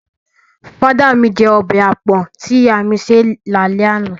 Father my jẹ ọbẹ̀ àpọ̀n tí ìyá mi ṣé è lálẹ́ àná.